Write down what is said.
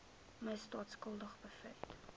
misdaad skuldig bevind